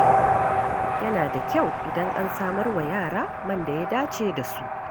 Yana da kyau idan an samar wa yara man da ya dace da su.